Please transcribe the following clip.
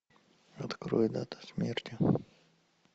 открой дата смерти